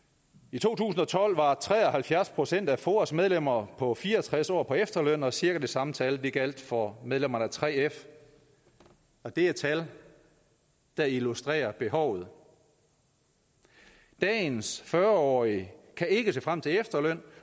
i to tusind og tolv var tre og halvfjerds procent af foas medlemmer på fire og tres år på efterløn og cirka det samme tal gjaldt for medlemmerne af 3f og det er tal der illustrerer behovet dagens fyrre årige kan ikke se frem til efterløn